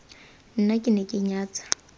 nna ke ne ke nyatsa